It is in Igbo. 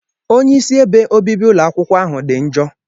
Onye Isi ebe obibi ụlọ akwukwo ahụ dị njọ.